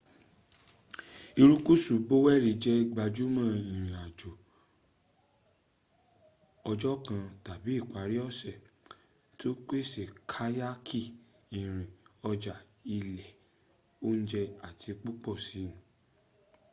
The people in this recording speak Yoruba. irukusu boweni jẹ gbajumo ìrìn àjò ọjọ́ kan tàbí ìparí ọ̀sẹ̀ to pèsè kayaki irin ọjà ilé ounje àti púpọ̀ si